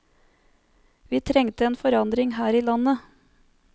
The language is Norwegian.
Vi trengte en forandring her i landet.